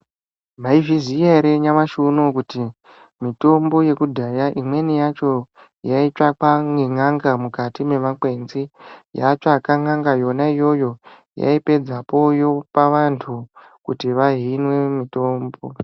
Maizviziva here nyamashi unoyu kuti mitombo yekudhaya imweni yacho yaitsvakwa nen'anga mukati memakwenzi yatsvaka n'anga yona yoyo yaipedzapo yopa vantu kuti vahimwe mitombo.